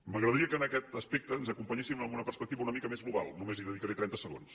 m’agradaria que en aquest aspecte ens acompanyessin en una perspectiva una mica més global només hi dedicaré trenta segons